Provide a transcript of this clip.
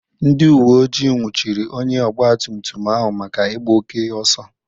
Ndị uwe ojii nwụchiri onye ọgba tum tum ahụ maka ịgba oke ọsọ.